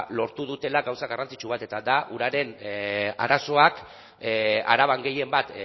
lortu dutela gauza garrantzitsu bat eta da uraren arazoak araban gehien bat